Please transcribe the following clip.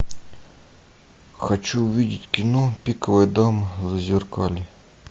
хочу увидеть кино пиковая дама зазеркалье